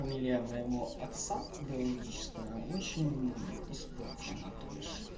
фамилия моего отца биологического очень испорчена то бишь